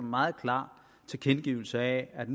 meget klar tilkendegivelse af at